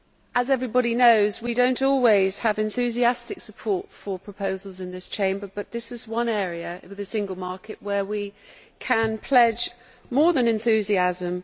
As everybody knows, we do not always have enthusiastic support for proposals in this Chamber, but this is one area in which we can pledge more than enthusiasm.